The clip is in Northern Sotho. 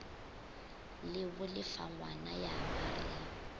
le bolefagwana ya ba re